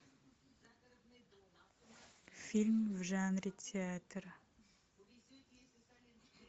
фильм в жанре театр